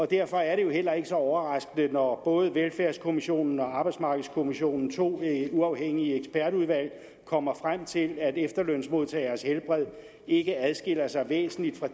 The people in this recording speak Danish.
derfor er det jo heller ikke så overraskende når både velfærdskommissionen og arbejdsmarkedskommissionen to uafhængige ekspertudvalg kommer frem til at efterlønsmodtageres helbred ikke adskiller sig væsentligt fra